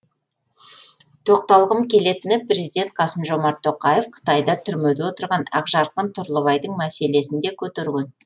тоқталғым келетіні президент қасым жомарт тоқаев қытайда түрмеде отырған ақжарқын тұрлыбайдың мәселесін де көтерген